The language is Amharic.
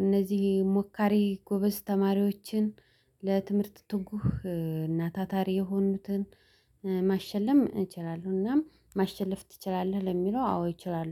እነዚህ ሞካሪ ጎበዝ ተማሪዎችን ለትምህርት ትጉህ እና ታታሪ የሆኑትን ማሸለም እችላለሁ። እናም ማሸለፍ ትችላለህ ለሚለው? አዎ እችላለሁ